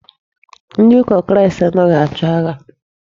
Ndị ụka Kristi anaghị achọ agha.